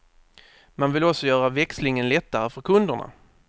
Man vill också göra växlingen lättare för kunderna.